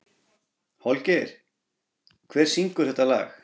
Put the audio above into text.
Holgeir, hver syngur þetta lag?